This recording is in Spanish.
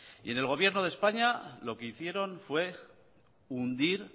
y en el gobierno de españa lo que hicieron fue hundir